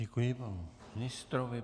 Děkuji panu ministrovi.